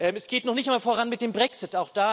Es geht noch nicht mal voran mit dem Brexit.